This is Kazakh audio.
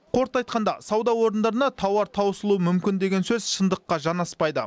қорыта айтқанда сауда орындарында тауар таусылуы мүмкін деген сөз шындыққа жанаспайды